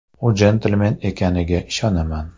U jentelmen ekaniga ishonaman.